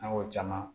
An y'o caman